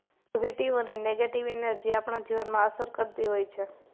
positive અને negative energy આપણા જીવનમાં અસર કરતી હોય છે